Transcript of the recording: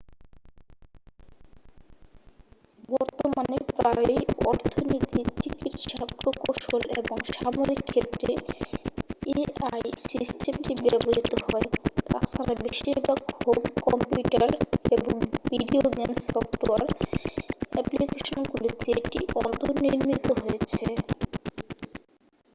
বর্তমানে প্রায়ই অর্থনীতি চিকিৎসা প্রকৌশল এবং সামরিক ক্ষেত্রে এআই সিস্টেমটি ব্যবহৃত হয় তাছাড়া বেশিরভাগ হোম কম্পিউটার এবং ভিডিও গেম সফ্টওয়্যার অ্যাপ্লিকেশনগুলিতে এটি অন্তনির্মিত হয়েছে